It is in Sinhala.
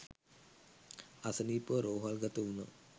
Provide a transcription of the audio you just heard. අසනීපව රෝහල් ගත වුණා.